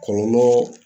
Kɔlɔlɔ